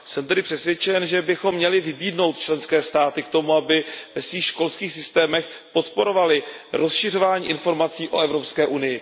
Jsem tedy přesvědčen, že bychom měli vybídnout členské státy k tomu, aby ve svých školských systémech podporovaly rozšiřování informací o EU.